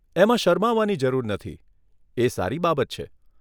એમાં શરમાવાની જરૂર નથી, એ સારી બાબત છે.